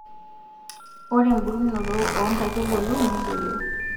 Ore mbulunoto oo nkaitubulu nedoyio.